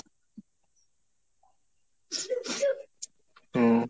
উহ